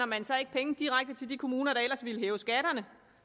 man så ikke penge direkte til de kommuner der ellers ville hæve skatterne